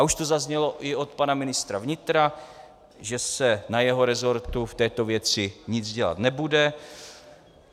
A už to zaznělo i od pana ministra vnitra, že se na jeho rezortu v této věci nic dělat nebude.